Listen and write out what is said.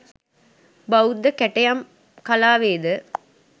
බෞද්ධ කැටයම් කලාවේ ද